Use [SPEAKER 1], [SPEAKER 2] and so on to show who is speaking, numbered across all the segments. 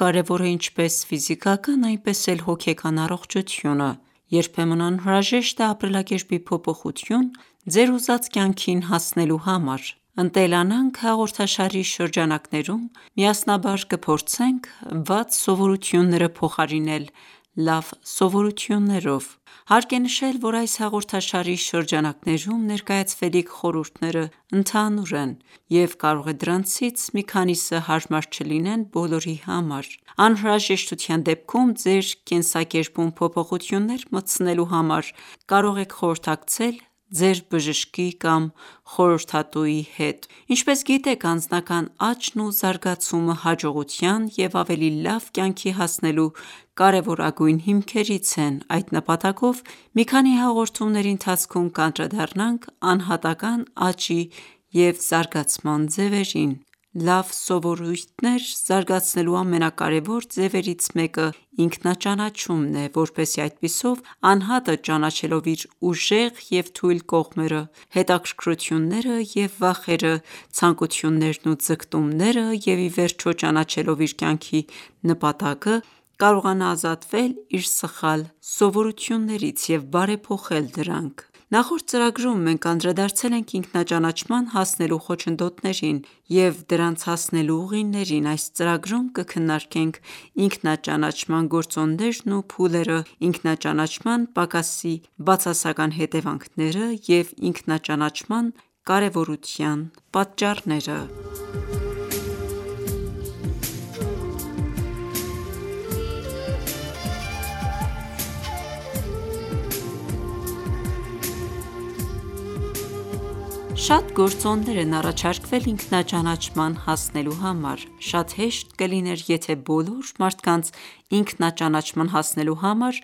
[SPEAKER 1] կարևոր է ինչպես ֆիզիկական, այնպես էլ հոգեկան առողջությունը:Երբեմն անհրաժեշտ է ապրելակերպի փոփոխություն՝ ձեր ուզած կյանքին հասնելու համար:«Ընտելանանք» հաղորդաշարի շրջանակներում միասնաբար կփորձենք վատ սովորությունները փոխարինել լավ սովորություններով։ Հարկ է նշել, որ այս հաղորդաշարի շրջանակներում ներկայացվելիք խորհուրդներն ընդհանուր են, և կարող է դրանցից մի քանիսը հարմար չլինեն բոլորի համար: Անհրաժեշտության դեպքում ձեր կենսակերպում փոփոխություններ մտցնելու համար կարող եք խորհրդակցել ձեր բժշկի կամ խորհրդատուի հետ: Ինչպես գիտեք, անձնական աճն ու զարգացումը հաջողության և ավելի լավ կյանքի հասնելու կարևորագույն հիմքերից են: Այդ նպատակով մի քանի հաղորդումների ընթացքում կանդրադառնանք անհատական ​​աճի և զարգացման ձևերին: Լավ սովորույթներ զարգացնելու ամենակարևոր ձևերից մեկը՝ ինքնաճանաչումն է, որպեսզի այդպիսով անհատը ճանաչելով իր ուժեղ և թույլ կողմերը, հետաքրքրությունները և վախերը, ցանկություններն ու ձգտումները, և ի վերջո ճանաչելով իր կյանքի նպատակը, կարողանա ազատվել իր սխալ սովորույթներից և բարեփոխել դրանք: Նախորդ ծրագրում մենք անդրադարձել ենք ինքնաճանաչման հասնելու խոչընդոտներին և դրանց հասնելու ուղիներին: Այս ծրագրում կքննարկենք ինքնաճանաչման գործոններն ու փուլերը, ինքնաճանաչման պակասի բացասական հետևանքները և ինքնաճանաչման կարևորության պատճառները: Շատ գործոններ են առաջարկվել ինքնաճանաչման հասնելու համար։ Շատ հեշտ կլիներ, եթե բոլոր մարդկանց ինքնաճանաչման հասնելու համար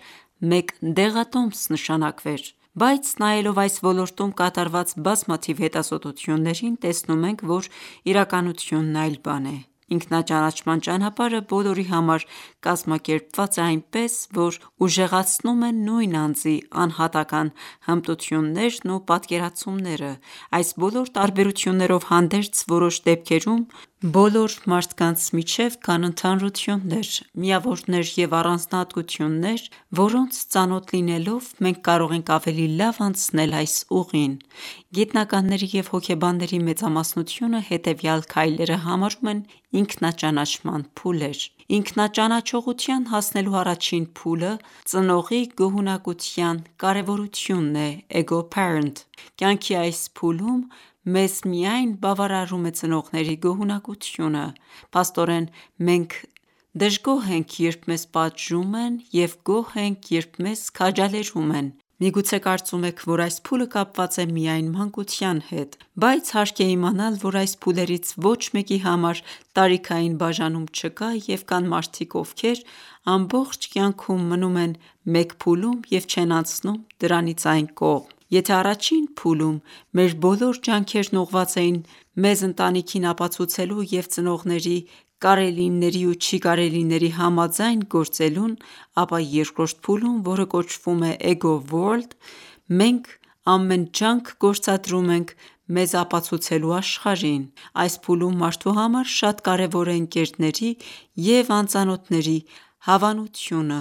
[SPEAKER 1] մեկ դեղատոմս նշանակվեր: Բայց նայելով այս ոլորտում կատարված բազմաթիվ հետազոտություններին՝ տեսնում ենք, որ իրականությունն այլ բան է։ Ինքնաճանաչման ճանապարհը բոլորի համար կազմակերպված է այնպես, որ ուժեղացնում է նույն անձի անհատական հմտություններն ու պատկերացումները: Այս բոլոր տարբերություններով հանդերձ, որոշ դեպքերում բոլոր մարդկանց միջև կան ընդհանրություններ։ Միավորներ և առանձնահատկություններ, որոնց ծանոթ լինելով մենք կարող ենք ավելի լավ անցնել այս ուղին: Գիտնականների և հոգեբանների մեծամասնությունը հետևյալ քայլերը համարում են ինքնաճանաչման փուլեր։ Ինքնաճանաչողության հասնելու առաջին փուլը ծնողի գոհունակության կարևորությունն է (ego-parent): Կյանքի այս փուլում մեզ միայն բավարարում է ծնողների գոհունակությունը։ Փաստորեն, մենք դժգոհ ենք, երբ մեզ պատժում են, և գոհ ենք, երբ մեզ քաջալերում են։ Միգուցե կարծում եք, որ այս փուլը կապված է միայն մանկության հետ։ Բայց հարկ է իմանալ, որ այս փուլերից ոչ մեկի համար տարիքային բաժանում չկա, և կան մարդիկ, ովքեր ամբողջ կյանքում մնում են մեկ փուլում և չեն անցնում դրանից այն կողմ։ Եթե ​​առաջին փուլում մեր բոլոր ջանքերն ուղղված էին մեզ ընտանիքին ապացուցելու և ծնողների կարելիների ու չի կարելիների համաձայն գործելուն, ապա երկրորդ փուլում, որը կոչվում է ego-world, մենք ամեն ջանք գործադրում ենք մեզ ապացուցելու աշխարհին: Այս փուլում մարդու համար շատ կարևոր է ընկերների և անծանոթների հավանությունը,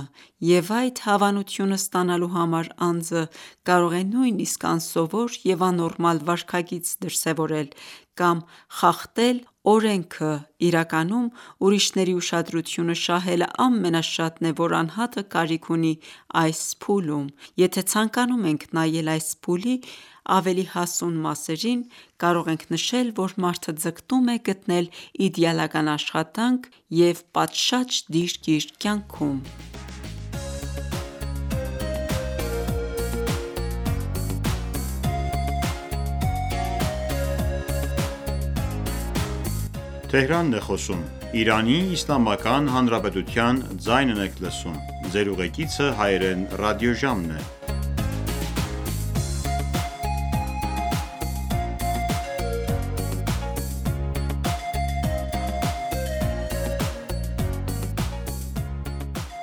[SPEAKER 1] և այդ հավանությունը ստանալու համար անձը կարող է նույնիսկ անսովոր և աննորմալ վարքագիծ դրսևորել կամ խախտել օրենքը: Իրականում, ուրիշների ուշադրությունը շահելը ամենաշատն է, որ անհատը կարիք ունի այս փուլում: Եթե ցանկանում ենք նայել այս փուլի ավելի հասուն մասերին, կարող ենք նշել, որ մարդը ձգտում է գտնել իդեալական աշխատանք և պատշաճ դիրք իր կյանքում: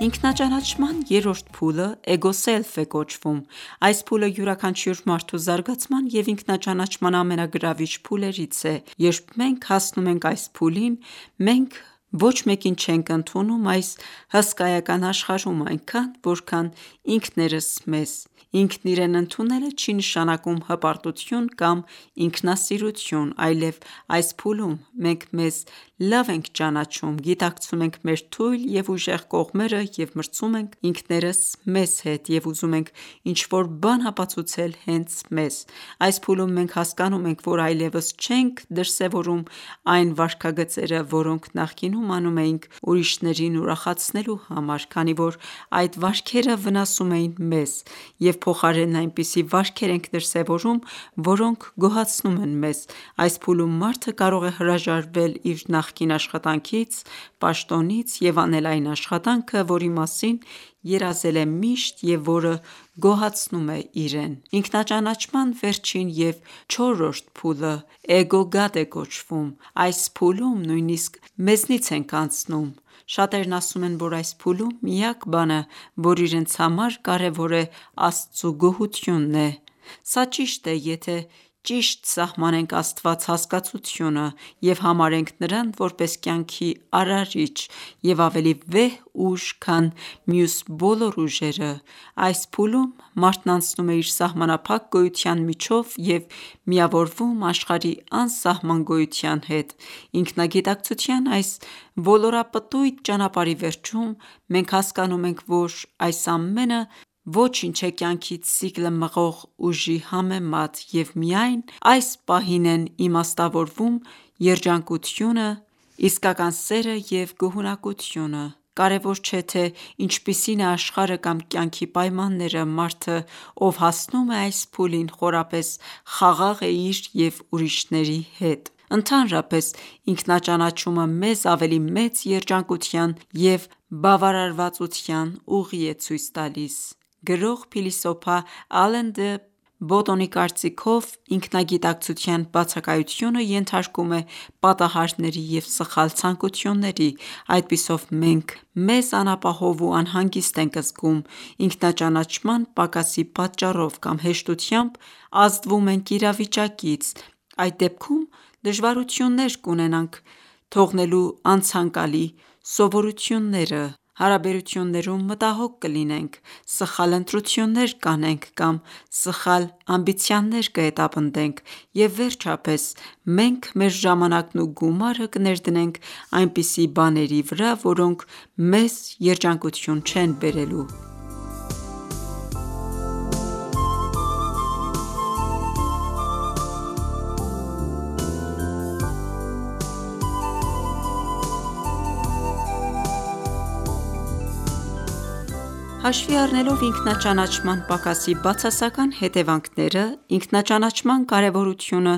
[SPEAKER 1] Ինքնաճանաչման երրորդ փուլը ego-self է կոչվում: Այս փուլը յուրաքանչյուր մարդու զարգացման և ինքնաճանաչման ամենագրավիչ փուլերից է։ Երբ մենք հասնում ենք այս փուլին, մենք ոչ մեկին չենք ընդունում այս հսկայական աշխարհում այնքան, որքան ինքներս մեզ: Ինքն իրեն ընդունելը չի ​​նշանակում հպարտություն կամ ինքնասիրություն: Այլև, այս փուլում մենք մեզ լավ ենք ճանաչում, գիտակցում ենք մեր թույլ և ուժեղ կողմերը, և մրցում ենք ինքներս մեզ հետ և ուզում ենք ինչ-որ բան ապացուցել հենց մեզ։ Այս փուլում, մենք հասկանում ենք, որ այլևս չենք դրսևորում այն ​​վարքագծերը, որոնք նախկինում անում էինք ուրիշներին ուրախացնելու համար, քանի որ այդ վարքերը վնասում էին մեզ, և փոխարենն այնպիսի վարքեր ենք դրսևորում, որոնք գոհացնում են մեզ: Այս փուլում մարդը կարող է հրաժարվել իր նախկին աշխատանքից, պաշտոնից, և անել այն աշխատանքը, որի մասին երազել է միշտ և որը գոհացնում է իրեն: Ինքնաճանաչման վերջին և չորրորդ փուլը ego-god է կոչվում: Այս փուլում նույնիսկ մեզնից ենք անցնում: Շատերն ասում են, որ այս փուլում միակ բանը, որ իրենց համար կարևոր է Աստծու գոհությունն է: Սա ճիշտ է, եթե ճիշտ սահմանենք Աստված հասկացությունը և համարենք նրան որպես կյանքի արարիչ և ավելի վեհ ուժ, քան մյուս բոլոր ուժերը: Այս փուլում մարդն անցնում է իր սահմանափակ գոյության միջով և միավորվում աշխարհի անսահման գոյության հետ։ Ինքնագիտակցության այս ոլորապտույտ ճանապարհի վերջում, մենք հասկանում ենք, որ այս ամենը ոչինչ է կյանքի ցիկլը մղող ուժի համեմատ, և միայն այս պահին են իմաստավորվում երջանկությունը, իսկական սերը և գոհունակությունը: Կարևոր չէ, թե ինչպիսին է աշխարհը կամ կյանքի պայմանները։ Մարդը, ով հասնում է այս փուլին, խորապես խաղաղ է իր և ուրիշների հետ: Ընդհանրապես, ինքնաճանաչումը մեզ ավելի մեծ երջանկության և բավարարվածության ուղի է ցույց տալիս: Գրող, փիլիսոփա Ալեն դը Բոտոնի կարծիքով, ինքնագիտակցության բացակայությունը ենթարկում է պատահարների և սխալ ցանկությունների։ Այդպիսով մենք մեզ անապահով ու անհանգիստ ենք զգում ինքնաճանաչման պակասի պատճառով կամ հեշտությամբ ազդվում ենք իրավիճակից։ Այդ դեպքում դժվարություններ կունենանք թողնելու անցանկալի սովորությունները: Հարաբերություններում մտահոգ կլինենք: Սխալ ընտրություններ կանենք կամ սխալ ամբիցիաներ կհետապնդենք։ Եվ վերջապես, մենք մեր ժամանակն ու գումարը կներդնենք այնպիսի բաների վրա, որոնք մեզ երջանկություն չեն բերելու: Հաշվի առնելով ինքնաճանաչման պակասի բացասական հետևանքները, ինքնաճանաչման կարևորությունը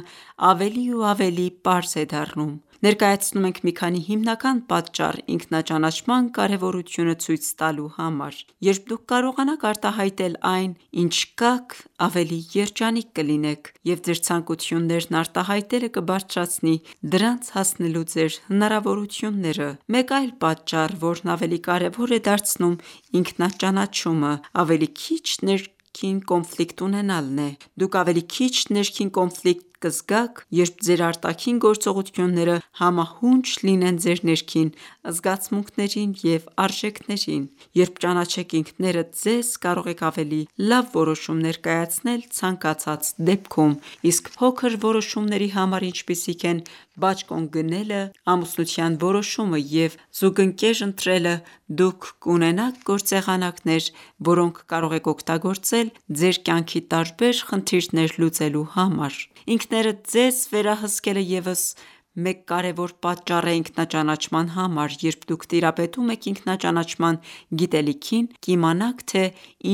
[SPEAKER 1] ավելի ու ավելի պարզ է դառնում: Ներկայացնում ենք մի քանի հիմնական պատճառ՝ ինքնաճանաչման կարևորությունը ցույց տալու համար: Երբ դուք կարողանաք արտահայտել այն, ինչ կաք, ավելի երջանիկ կլինեք, և ձեր ցանկություններն արտահայտելը կբարձրացնի դրանց հասնելու ձեր հնարավորությունները: Մեկ այլ պատճառ, որն ավելի կարևոր է դարձնում ինքնաճանաչումը, ավելի քիչ ներքին կոնֆլիկտ ունենալն է: Դուք ավելի քիչ ներքին կոնֆլիկտ կզգաք, երբ ձեր արտաքին գործողությունները համահունչ լինեն ձեր ներքին զգացմունքներին և արժեքներին: Երբ ճանաչեք ինքներդ ձեզ, կարող եք ավելի լավ որոշումներ կայացնել ցանկացած դեպքում: Իսկ փոքր որոշումների համար, ինչպիսիք են բաճկոն գնելը, ամուսնության որոշումը և զուգընկեր ընտրելը, դուք կունենաք գործեղանակներ, որոնք կարող եք օգտագործել ձեր կյանքի տարբեր խնդիրներ լուծելու համար: Ինքներդ ձեզ վերահսկելը ևս մեկ կարևոր պատճառ է ինքնաճանաչման համար: Երբ դուք տիրապետում եք ինքնաճանաչման գիտելիքին, կիմանաք, թե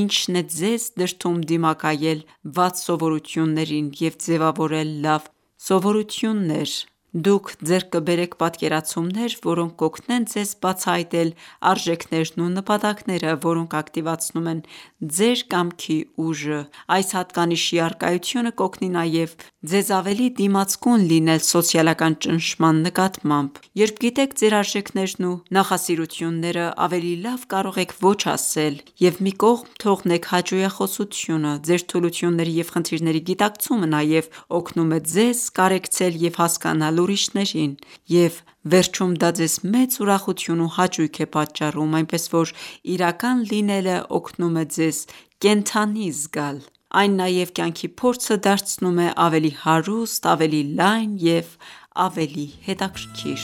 [SPEAKER 1] ինչն է ձեզ դրդում դիմակայել վատ սովորություններին և ձևավորել լավ սովորություններ։ Դուք ձեռք կբերեք պատկերացումներ, որոնք կօգնեն ձեզ բացահայտել արժեքներն ու նպատակները, որոնք ակտիվացնում են ձեր կամքի ուժը: Այս հատկանիշի առկայությունը կօգնի նաև ձեզ ավելի դիմացկուն լինել սոցիալական ճնշման նկատմամբ: Երբ գիտեք ձեր արժեքներն ու նախասիրությունները, ավելի լավ կարող եք «ոչ» ասել և մի կողմ թողնեք հաճոյախոսությունը։ Ձեր թուլությունների և խնդիրների գիտակցումը նաև օգնում է ձեզ կարեկցել և հասկանալ ուրիշներին: Եվ վերջում դա ձեզ մեծ ուրախություն ու հաճույք է պատճառում։ Այնպես որ իրական լինելն օգնում է ձեզ կենդանի զգալ: Այն նաև կյանքի փորձը դարձնում է ավելի հարուստ, ավելի լայն և ավելի հետաքրքիր: